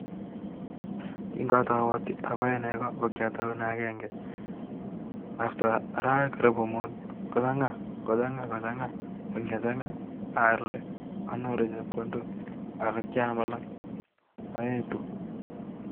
Kingagatau apae negoo KO kyataunee agenge (after) arawek chenegit muut atau aaalde aetu